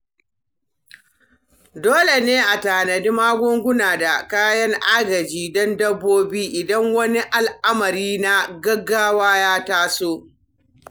Dole ne a tanadi magunguna da kayan agaji don dabbobi idan wani al'amari na gaggawa ya taso.